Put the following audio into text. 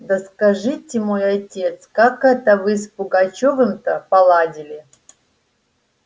да скажите мой отец как это вы с пугачёвым то поладили